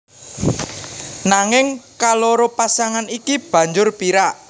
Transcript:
Nanging kaloro pasangan iki banjur pirak